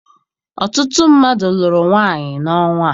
Ọtụtụ mmadụ lụrụ nwaanyị n'ọnwa a.